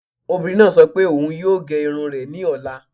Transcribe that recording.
Obìnrin náà sọ pé òun yóò gé irun rẹ̀ ní ọ̀la